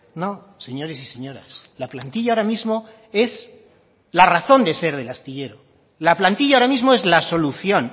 no señores y señoras la plantilla ahora mismo es la razón de ser del astillero la plantilla ahora mismo es la solución